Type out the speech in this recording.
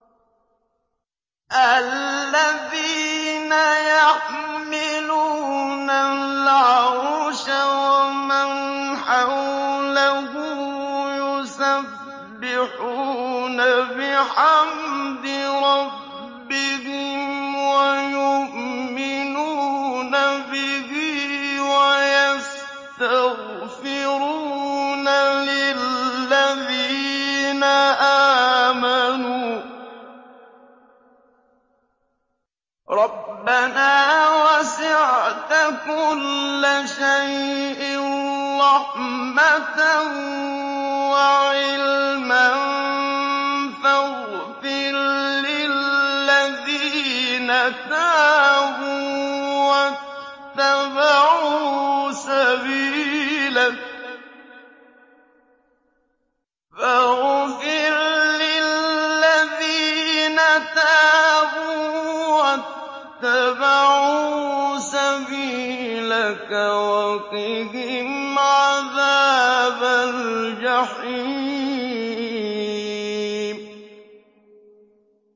الَّذِينَ يَحْمِلُونَ الْعَرْشَ وَمَنْ حَوْلَهُ يُسَبِّحُونَ بِحَمْدِ رَبِّهِمْ وَيُؤْمِنُونَ بِهِ وَيَسْتَغْفِرُونَ لِلَّذِينَ آمَنُوا رَبَّنَا وَسِعْتَ كُلَّ شَيْءٍ رَّحْمَةً وَعِلْمًا فَاغْفِرْ لِلَّذِينَ تَابُوا وَاتَّبَعُوا سَبِيلَكَ وَقِهِمْ عَذَابَ الْجَحِيمِ